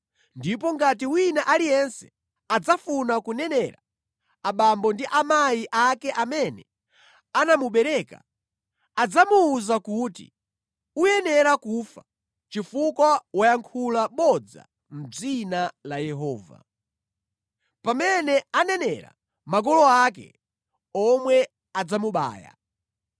Ndipo ngati wina aliyense adzafuna kunenera, abambo ndi amayi ake amene anamubereka, adzamuwuza kuti, ‘Uyenera kufa, chifukwa wayankhula bodza mʼdzina la Yehova.’ Pamene anenera, makolo ake omwe adzamubaya.